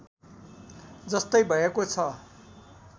जस्तै भएको छ